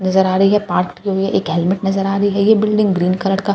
नजर आ रही हैं पाट की हेलमेट नजर आ रही हैं ये बिल्डिंग ग्रीन कलर का --